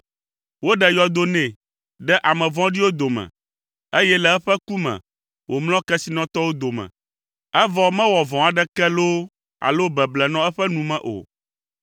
Woɖe yɔdo nɛ ɖe ame vɔ̃ɖiwo dome, eye le eƒe ku me, wòmlɔ kesinɔtɔwo dome; evɔ mewɔ vɔ̃ aɖeke loo alo beble nɔ eƒe nu me o.